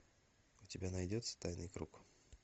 у тебя найдется тайный круг